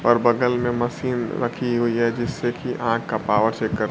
और बगल में मशीन रखी हुई है जिससे की आंख का पावर चेक कर--